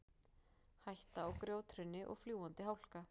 Hætta á grjóthruni og fljúgandi hálka